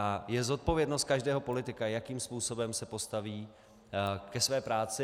A je zodpovědností každého politika, jakým způsobem se postaví ke své práci.